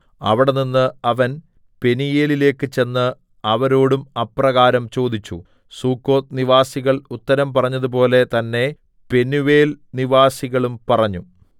അവിടെനിന്ന് അവൻ പെനീയേലിലേക്ക് ചെന്ന് അവരോടും അപ്രകാരം ചോദിച്ചു സുക്കോത്ത് നിവാസികൾ ഉത്തരം പറഞ്ഞതുപോലെ തന്നേ പെനൂവേൽനിവാസികളും പറഞ്ഞു